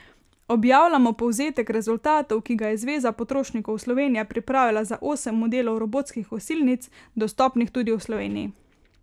Objavljamo povzetek rezultatov, ki ga je Zveza potrošnikov Slovenije pripravila za osem modelov robotskih kosilnic, dostopnih tudi v Sloveniji.